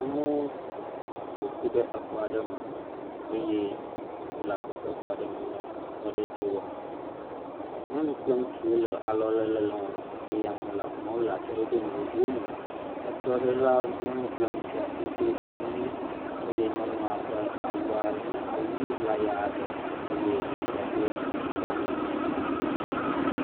Amewo ƒoƒu ɖe xɔa ɖe me. Eye wonɔ agbɔsɔsɔ me, wonɔ srɔ̃ɖeɖe aɖe wɔm. Nyɔnu kple ŋutsuwo le alɔlele wɔm. Ame le atsyɔ̃ɖoɖo vovovowo me. Esrɔ̃ɖelawo nya kple ŋutsuawo do nu ɣi eye nyɔnua ƒe awu nye awu ɣi ʋlaya aɖe eye ŋutsua do edzi kple anyi.